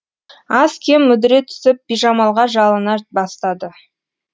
аз кем мүдіре түсіп бижамалға жалына бастады